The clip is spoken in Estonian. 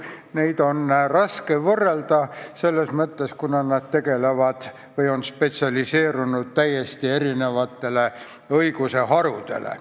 Neid on raske võrrelda selles mõttes, et nad on spetsialiseerunud täiesti erinevatele õiguse harudele.